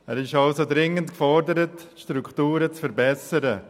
Der Kanton ist also dringend gefordert, die Strukturen zu verbessern.